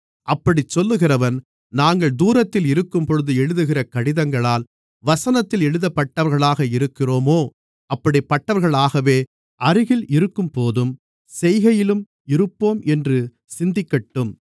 அப்படிச் சொல்லுகிறவன் நாங்கள் தூரத்தில் இருக்கும்போது எழுதுகிற கடிதங்களால் வசனத்தில் எப்படிப்பட்டவர்களாக இருக்கிறோமோ அப்படிப்பட்டவர்களாகவே அருகில் இருக்கும்போதும் செய்கையிலும் இருப்போம் என்று சிந்திக்கட்டும்